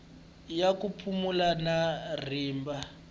ya ku pulana na rimba